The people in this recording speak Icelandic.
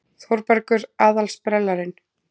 Og Þórbergur aðal-sprellarinn.